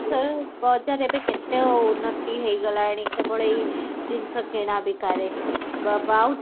ବାଲେଶ୍ବର ବଜାର ଏବେ କେତେ ଉନ୍ନତୀ ହେଇଗଲାଣି କେବଳ ଏଈ ଜିନିଷ କିଣା ବିକା ରେ ବାବା ଆଉ